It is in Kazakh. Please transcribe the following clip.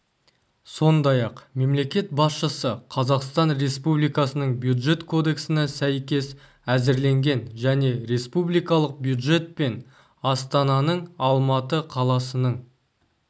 сондай-ақ мемлекет басшысы қазақстан республикасының бюджет кодексіне сәйкес әзірленген және республикалық бюджет пен астананың алматы қаласының